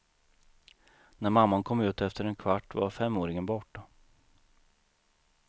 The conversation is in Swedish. När mamman kom ut efter en kvart var femåringen borta.